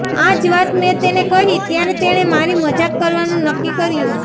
આ જ વાત મેં તેને કહી ત્યારે તેણે મારી મજાક કરવાનું નક્કી કર્યું